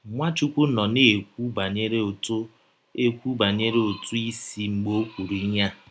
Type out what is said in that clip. Nwachụkwụ nọ na - ekwụ banyere ụtụ ekwụ banyere ụtụ isi mgbe o kwụrụ ihe a.